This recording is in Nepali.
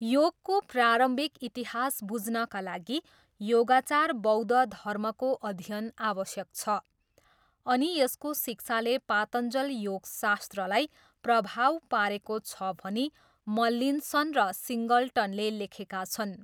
योगको प्रारम्भिक इतिहास बुझ्नाका लागि योगाचार बौद्ध धर्मको अध्ययन आवश्यक छ अनि यसको शिक्षाले पातञ्जल योगशास्त्रलाई प्रभाव पारेको छ भनी मल्लिन्सन र सिङ्गलटनले लेखेका छन्।